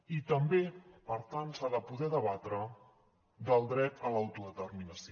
i també per tant s’ha de poder debatre del dret a l’autodeterminació